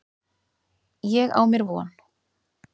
Ég á mér von.